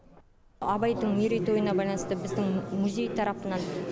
абайдың мерейтойына байланысты біздің музей тарапынан